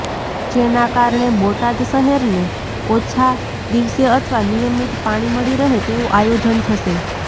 જેના કારણે બોટાદ શહેરને ઓછા દિવસે અથવા નિયમિતી પાણી મળી રહે તેવુ આયોજન થશે